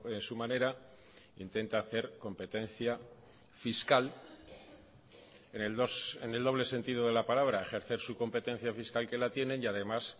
en su manera intenta hacer competencia fiscal en el doble sentido de la palabra ejercer su competencia fiscal que la tienen y además